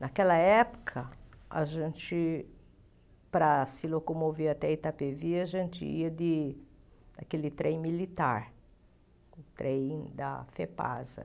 Naquela época, a gente, para se locomover até Itapevi, a gente ia de aquele trem militar, o trem da Fepasa.